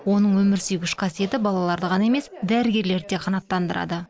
оның өмір сүйгіш қасиеті балаларды ғана емес дәрігерлерді де қанаттандырады